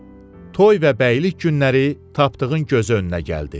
Toy və bəylik günləri Tapdığın gözü önünə gəldi.